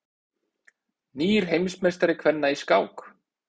Nýr heimsmeistari kvenna í skák